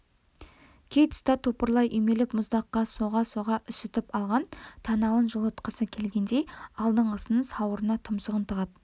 кей тұста топырлай үймелеп мұздаққа соға-соға үсітіп алған танауын жылытқысы келгендей алдыңғысының сауырына тұмсығын тығады